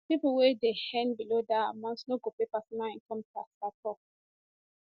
pipo wey dey earn below dat amount no go pay personal income tax at all